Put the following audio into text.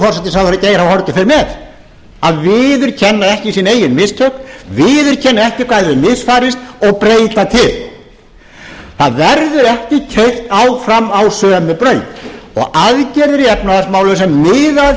forsætisráðherra geir h haarde fer með að viðurkenna ekki sín eigin mistök að viðurkenna ekki hvað hefur misfarist og breyta til það verður ekki keyrt áfram á sömu braut aðgerðir í efnahagsmálum sem miða að